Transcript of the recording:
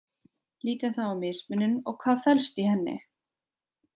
Lítum þá á mismunun og hvað felst í henni.